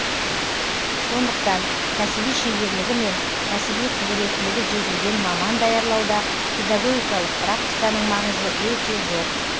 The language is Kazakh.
сондықтан кәсіби шеберлігі мен кәсіби құзіреттілігі жетілген маман даярлауда педагогикалық практиканың маңызы өте зор